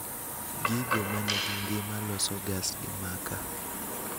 Gigo manigi ngima loso gas gi makaa